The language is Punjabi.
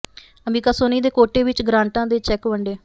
ਅੰਬਿਕਾ ਸੋਨੀ ਦੇ ਕੋਟੇ ਵਿਚੋਂ ਗਰਾਂਟਾਂ ਦੇ ਚੈਕ ਵੰਡੇ